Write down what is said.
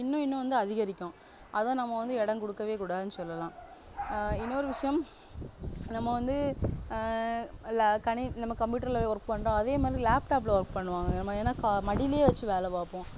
இன்னும் இன்னும் வந்து அதிகரிக்கும் அதை நம்ம வந்து இடம் கொடுக்கவே கூடாதுன்னு சொல்லலாம் ஆஹ் இன்னொரு விஷயம் நம்ம வந்து ஆஹ் கணிணி~நம்ம computer ல work பண்றோம் அதேமாதிரி laptop ல work பண்ணுவாங்க ஏன்னா மடியிலேய வச்சு வேலை பாப்போம்